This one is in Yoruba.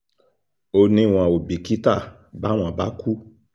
ó ní wọn ò bìkítà báwọn bá kú